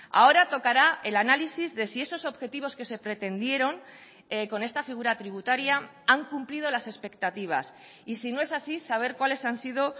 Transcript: ahora tocará el análisis de si esos objetivos que se pretendieron con esta figura tributaria han cumplido las expectativas y si no es así saber cuáles han sido